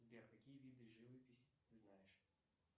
сбер какие виды живописи ты знаешь